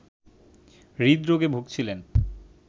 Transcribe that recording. হৃদরোগে ভুগছিলেন